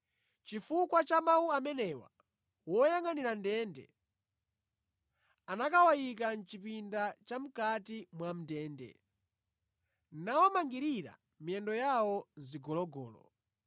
Chifukwa cha mawu amenewa woyangʼanira ndende anakawayika mʼchipinda chamʼkati mwa ndende, nawamangirira miyendo yawo mʼzigologolo.